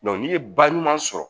n'i ye ba ɲuman sɔrɔ